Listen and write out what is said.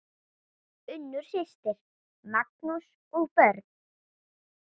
Unnur systir, Magnús og börn.